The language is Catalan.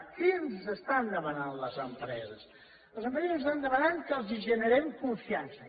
què ens estan demanant les empreses les empreses ens estan demanant que els generem confiança